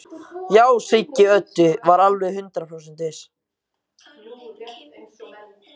Já, Siggi Öddu var alveg hundrað prósent viss.